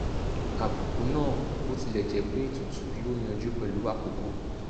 àbùkù náà bó tilẹ̀ jẹ́ pé tútù yóò yanjú pẹ̀lú àkókò